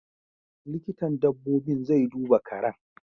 Likitan dabbobin zai duba karen.